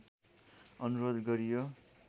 अनुरोध गरियो